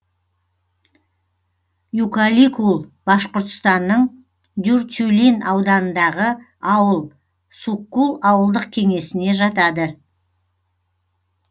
юкаликул башқұртстанның дюртюлин ауданындағы ауыл суккул ауылдық кеңесіне жатады